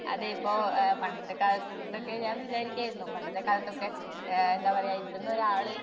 അതെഇപ്പോ പണ്ടത്തെ കാലത്തക്കെ ഞാൻ വിചാരിക്കുവാരുന്നു. പണ്ടത്തെകാലത്തൊക്കെ ആഹ് എന്താപറയ ഇവിടൊന്നാരാള്